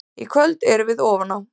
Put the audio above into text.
Í kvöld erum við ofan á.